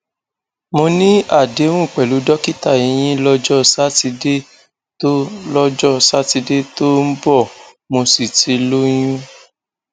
mo ní àdéhùn pẹlú dókítà eyín lọjọ sátidé tó lọjọ sátidé tó ń bọ mo sì ti lóyún